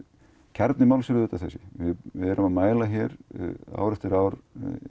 kjarni málsins er þessi við erum að mæla ár eftir ár